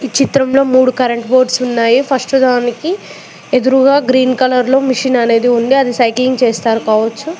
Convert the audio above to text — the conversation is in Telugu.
చిత్రంలో మూడు కరెంట్ బోర్డ్స్ ఉన్నాయి ఫస్ట్ దానికి ఎదురుగా గ్రీన్ కలర్ లో మిషన్ అనేది ఉంది అది సైక్లింగ్ చేస్తారు కావచ్చు.